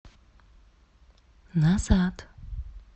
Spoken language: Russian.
назад